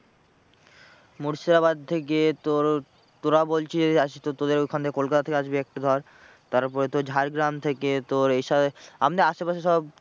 মুর্শিদাবাদ থেকে তোর, তোরা বলছিস আসছিস তো তোদের ওখান থেকে কলকাতা থেকে আসবে একটা ধর তারপরে তোর ঝাড়গ্রাম থেকে তোর এ সব আমাদের আশে পাশে সব